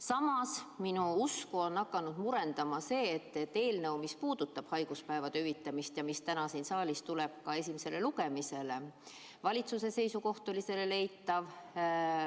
Samas on minu usku hakanud murendama see, et eelnõu puhul, mis puudutab haiguspäevade hüvitamist ja mis täna tuleb siin saalis esimesele lugemisele, on valitsuse seisukoht eitav.